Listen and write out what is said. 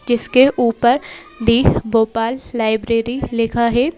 जिसके ऊपर the Bhopal library लिखा है।